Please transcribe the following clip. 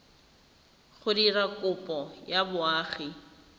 go dira kopo ya boagi